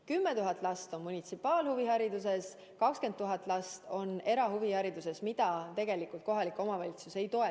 10 000 last saab osa munitsipaalhuviharidusest ja 20 000 last erahuviharidusest, mida tegelikult kohalik omavalitsus ei toeta.